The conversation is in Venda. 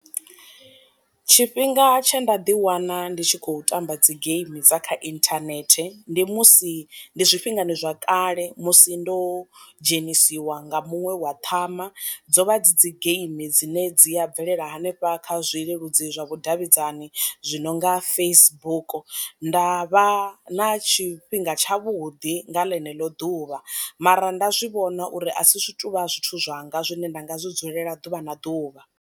Tshifhinga tshe nda ḓi wana ndi tshi khou tamba dzi game dza kha inthanethe ndi musi ndi zwi fhingani zwa kale musi ndo dzhenisiwa nga muṅwe wa ṱhama dzo vha dzi dzi geimi dzine dzi a bvelela hanefha kha zwi leludzi zwa vhu davhidzani zwi no nga Facebook, nda vha na tshifhinga tshavhuḓi nga ḽeneḽo ḓuvha mara nda zwi vhona uri a si zwi tovha zwithu zwanga zwine nda nga zwi dzulela ḓuvha na ḓuvha.